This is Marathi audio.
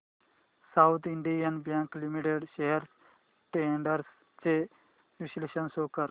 south Indian bank limited shares trends चे विश्लेषण शो कर